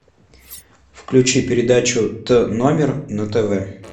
включи передачу т номер на тв